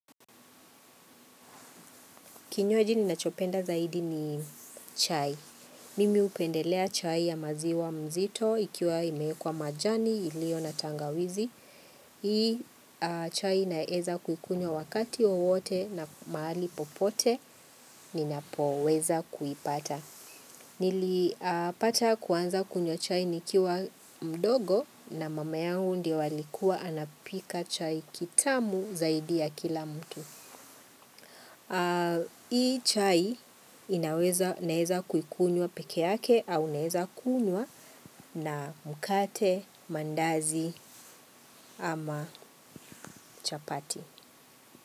Kinywaji ninachopenda zaidi ni chai. Mimi hupendelea chai ya maziwa mzito ikiwa imewekwa majani iliyo na tangawizi. Hii chai naeza kuikunywa wakati wowote na mahali popote ninapoweza kuipata. Nilipata kuanza kunywa chai nikiwa mdogo na mama yangu ndio alikuwa anapika chai kitamu zaidi ya kila mtu. Hii chai inaweza, naweza kuikunywa peke yake au naweza kunywa na mkate, mandazi ama chapati.